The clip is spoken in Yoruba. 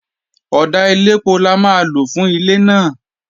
Ọ̀dà elépo la máa lò fún ilé náà